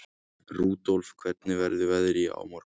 Rudolf, hvernig verður veðrið á morgun?